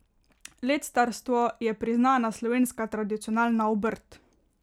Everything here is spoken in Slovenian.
Lectarstvo je priznana slovenska tradicionalna obrt.